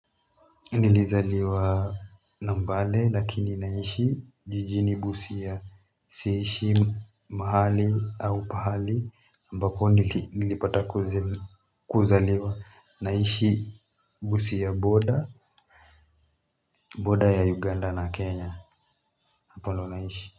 Nilizaliwa nambale lakini naishi jijini busia. Si ishi mahali au pahali ambapo nilipata kuzaliwa. Naishi Busia border, border ya Uganda na Kenya hapa ndio naishi.